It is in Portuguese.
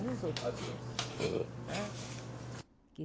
E os outros cursos né?